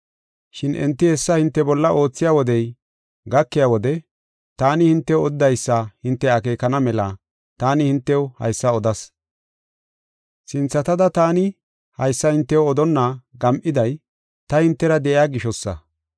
Shin enti hessa hinte bolla oothiya wodey gakiya wode taani hintew odidaysa hinte akeekana mela taani hintew haysa odas. “Sinthatada taani haysa hintew odonna gam7iday ta hintera de7iya gishosa.